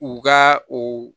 U ka o